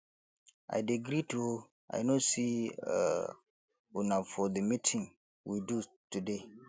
i dey greet oo i no see um una for the meeting we do today